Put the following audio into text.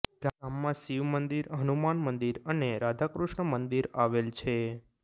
ગામમાં શિવ મંદિર હનુમાન મંદિર અને રાધાકૃષ્ણ મંદિર આવેલ છે